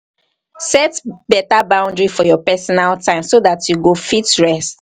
set better boundary for your personal time so dat you go fit rest